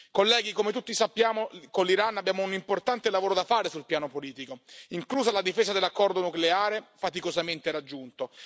Colleghi, come tutti sappiamo con l'Iran abbiamo un importante lavoro da fare sul piano politico, inclusa la difesa dell'accordo nucleare, faticosamente raggiunto.